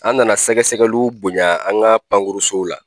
An nana sɛgɛsɛgɛliw bonya an ka pankurusow la.